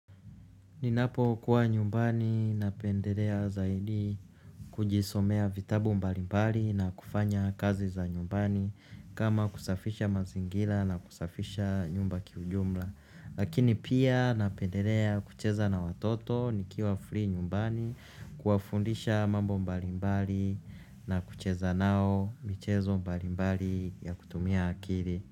Ninapokuwa nyumbani napendelea zaidi kujisomea vitabu mbalimbali na kufanya kazi za nyumbani kama kusafisha mazingira na kusafisha nyumba kiujumla lakini pia napendelea kucheza na watoto nikiwa free nyumbani kuwafundisha mambo mbalimbali na kucheza nao michezo mbalimbali ya kutumia akili.